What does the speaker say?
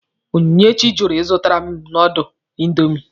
Onyinyechi jụrụ ịzụtara m nọdụlụ indomi.